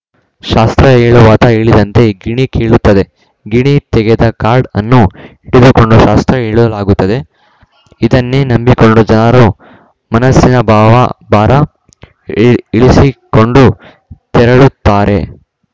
ಶಾಸ್ತ್ರ ಹೇಳುವಾತ ಹೇಳಿದಂತೆ ಗಿಣಿ ಕೇಳುತ್ತದೆ ಗಿಣಿ ತೆಗೆದ ಕಾರ್ಡ್‌ ಅನ್ನು ಹಿಡಿದುಕೊಂಡು ಶಾಸ್ತ್ರ ಹೇಳಲಾಗುತ್ತದೆ ಇದನ್ನೇ ನಂಬಿಕೊಂಡು ಜನರು ಮನಸ್ಸಿನ ಭಾವ ಭಾರ ಇಳಿಸಿಕೊಂಡು ತೆರಳುತ್ತಾರೆ